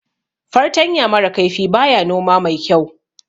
Fartanya mara kaifi baya noma mai kyau